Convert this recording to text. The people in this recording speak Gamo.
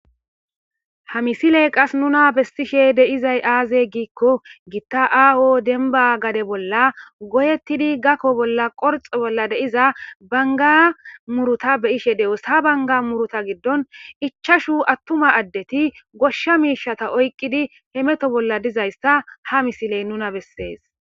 Ha misiley qas nuna bestishe deizay aaze giikko gitta aaho denba gade bolla goyettidi gakko bolla qorx bolla deiza banga muruta beyishe de'os ha banga muruta giddon ichashu attuma addeti goshsha miishata oyqqidi hemeto bolla dizayssa ha misiley nuna bessees.